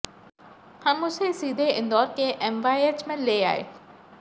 हम उसे सीधे इंदौर के एमवायएच में ले आए